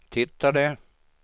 tittade